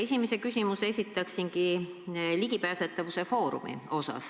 Esimese küsimuse esitaksin MTÜ Ligipääsetavuse Foorum kohta.